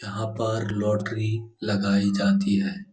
यहाँ पर लॉटरी लगाई जाती है।